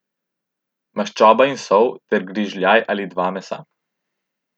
Maščoba in sol ter grižljaj ali dva mesa.